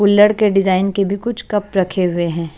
कुल्लड़ के डिजाइन के भी कुछ कप रखे हुए हैं।